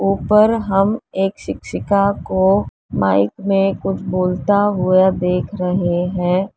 ऊपर हम एक शिक्षिका को माइक में कुछ बोलता हुआ देख रहे हैं।